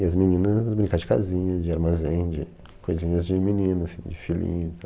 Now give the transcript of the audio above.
E as meninas, brincar de casinha, de armazém, de coisinhas de menina, assim, de filhinho e